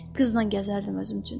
Qızla gəzərdim özüm üçün.